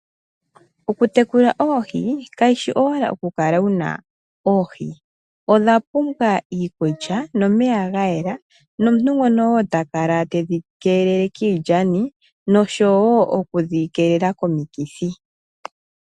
Oku tekula oohi kayishi owala oku kala wu na oohi, odha pumbwa iikulya nomeya ga yela nomuntu ngono wo ta kala te dhi kelele kiilyani noshowo okudhi keelela komokithi.